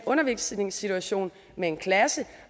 undervisningssituation med en klasse